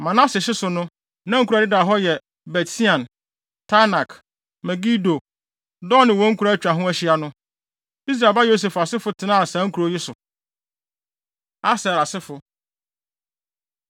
Manase hye so no, na nkurow a ɛdeda hɔ yɛ Bet-Sean, Taanak, Megido, Dor ne wɔn nkuraa a atwa ho ahyia no. Israel ba Yosef asefo tenaa saa nkurow yi so. Aser Asefo